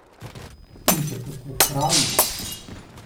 In še kako prav ima.